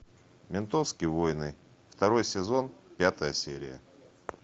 ментовские войны второй сезон пятая серия